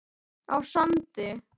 á Sandi.